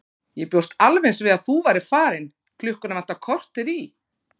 Ég bjóst alveg eins við að þú værir farin, klukkuna vantar korter í.